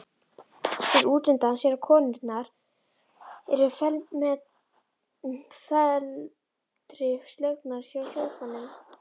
Sér útundan sér að konurnar eru felmtri slegnar hjá sófanum.